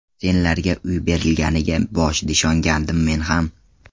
Senlarga uy berilganiga boshida ishongandim men ham.